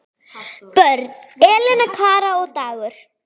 Börn: Elena, Kara og Dagur.